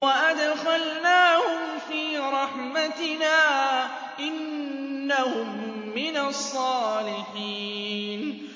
وَأَدْخَلْنَاهُمْ فِي رَحْمَتِنَا ۖ إِنَّهُم مِّنَ الصَّالِحِينَ